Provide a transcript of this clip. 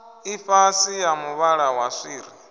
ḽifhasi ya muvhala wa swiri